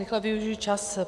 Rychle využiji čas.